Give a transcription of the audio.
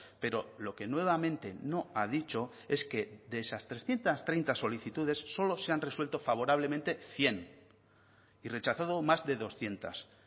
pero lo que nuevamente no ha dicho es que de esas trescientos treinta solicitudes solo se han resuelto favorablemente cien y rechazado más de doscientos